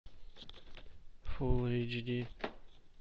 фулл эйч ди